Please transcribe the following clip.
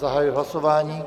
Zahajuji hlasování.